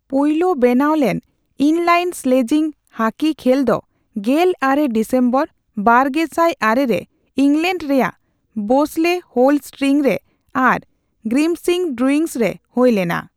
ᱯᱳᱭᱞᱳ ᱵᱮᱱᱟᱣᱞᱮᱱ inline sledging hockey ᱠᱷᱮᱹᱞ ᱫᱚ ᱜᱮᱞ ᱟᱨᱮ ᱰᱤᱥᱮᱢᱵᱚᱨ, ᱵᱟᱨᱜᱮᱥᱟᱭ ᱟᱨᱮ ᱨᱮ ᱤᱝᱞᱮᱱᱰ ᱨᱮᱭᱟᱜ ᱵᱮᱥᱞᱮ ᱦᱳᱞ ᱥᱴᱤᱝᱨᱮ ᱟᱨ ᱜᱨᱤᱢᱥᱵᱤ ᱰᱩᱭᱤᱝᱥ ᱨᱮ ᱦᱳᱭ ᱞᱮᱱᱟ ᱾